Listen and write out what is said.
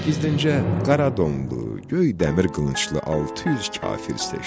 Gizdincə qara donlu, göy dəmir qılınclı 600 kafir seçdi.